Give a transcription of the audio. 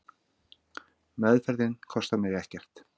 Meðferðin kostar mig ekkert.